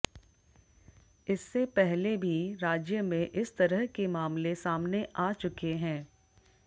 इससे पहले भी राज्य में इस तरह के मामले सामने आ चुके हैं